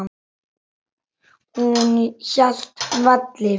Hún hélt velli.